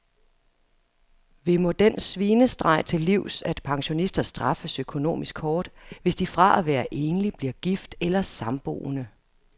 Vi må den svinestreg til livs, at pensionister straffes økonomisk hårdt, hvis de fra at være enlig bliver gift eller samboende.